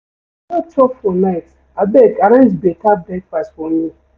I no chop for night abeg arrange beta breakfast for me.